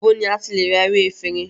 Ibo ni a ti le ra ewé efinrin?